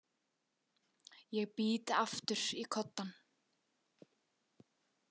Ég bít aftur í koddann.